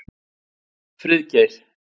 Friðgeir